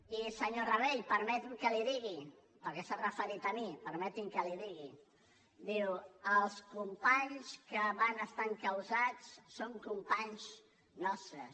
i senyor rabell permeti’m que li ho digui perquè s’ha referit a mi permeti’m que li ho digui diu els companys que van estar encausats són companys nostres